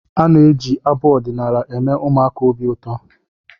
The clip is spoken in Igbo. Ana-eji abụ ọdịnaala. eme ụmụaka obi ụtọ